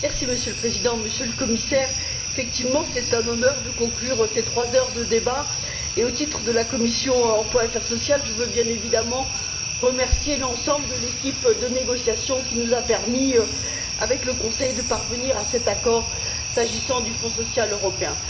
Monsieur le Président, Monsieur le Commissaire, c'est effectivement un honneur de conclure ces trois heures de débat et, au nom de la commission de l'emploi et des affaires sociales, je veux bien évidemment remercier l'ensemble de l'équipe de négociation qui nous a permis, avec le Conseil, de parvenir à cet accord, s'agissant du Fonds social européen.